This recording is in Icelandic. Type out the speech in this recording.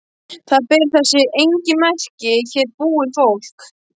Það ber þess engin merki að hér búi fólk.